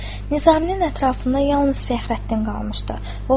Nizaminin ətrafında yalnız Fəxrəddin qalmışdı.